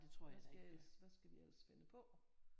Hvad skal jeg ellers hvad skal vi ellers finde på